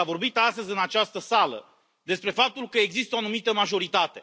S a vorbit astăzi, în această sală, despre faptul că există o anumită majoritate.